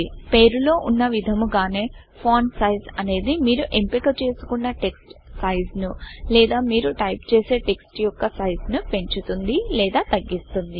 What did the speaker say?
పేరులో వున్న విధముగానే ఫాంట్ Sizeఫాంట్ సైస్ అనేది మీరు ఎంపిక చేసుకున్న టెక్స్ట్ సైజు ను లేదా మీరు టైపు చేసే టెక్స్ట్ యొక్క సైజు ను పెంచుతుంది లేదా తగ్గిస్తుంది